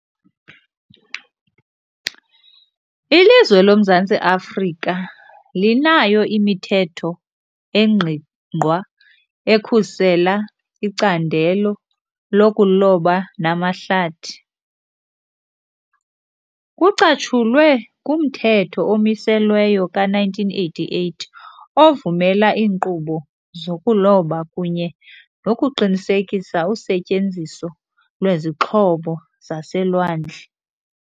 Ilizwe loMzantsi Afrika linayo imithetho engqingqwa ekhusela icandelo lokuloba namahlathi. Kucatshulwe kumthetho omiselweyo ka-nineteen eighty-eight ovumela iinkqubo zokuloba kunye nokuqinisekisa usetyenziso lwezixhobo zaselwandle.